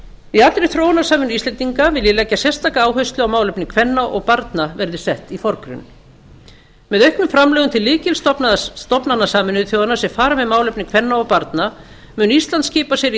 í allri þróunarsamvinnu íslendinga vil ég leggja sérstaka áherslu á að málefni kvenna og barna verði sett í forgrunn með auknum framlögum til lykilstofnana sameinuðu þjóðanna sem fara með málefni kvenna og barna mun ísland skipa sér í